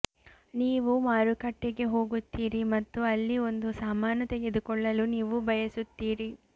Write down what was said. ನೀವು ಮಾರುಕಟ್ಟೆಗೆ ಹೋಗುತ್ತೀರಿ ಮತ್ತು ಅಲ್ಲಿ ಒಂದು ಸಾಮಾನು ತೆಗೆದುಕೊಳ್ಳಲು ನೀವು ಬಯಸುತ್ತೀರಿ